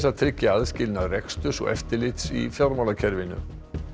að tryggja aðskilnað reksturs og eftirlits í fjármálakerfinu